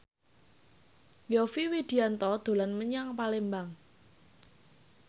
Yovie Widianto dolan menyang Palembang